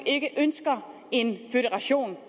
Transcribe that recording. ikke ønsker en jeg